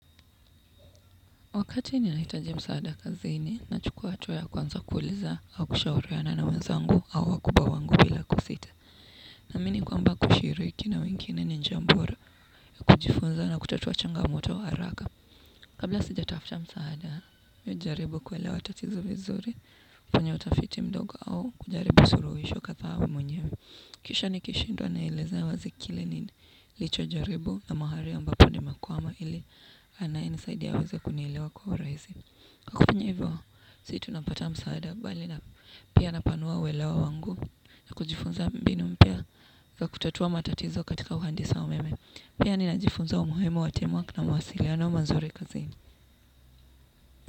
Wakati ninahitaji msaada kazini nachukua atuwa ya kwanza kuuliza au kushauriana na wenzangu au wakubwa wangu bila kusita. Naamini kwamba kushiriki na wengineni ni njambo ra kujifunza na kutatua changamoto haraka. Kabla sijatafta msaada, mi hujaribu kuelewa tatizo vizuri, kwenye utafiti mdogo au kujaribu suruhisho kadha mwenyewe. Kisha nikishindwa naelezea wazi kile nilichojaribu na mahari ambapo nimekwama ili anayenisaidi aweze kunielewa kwa uraisi. Kwa kufanya ivo, sii tunapata msaada bali na pia napanua uwelewa wangu na kujifunza mbinu mpya za kutatua matatizo katika uhandisi wa meme. Pia ninajifunza umuhimu wa team work na mawasiliano mazuri kazini.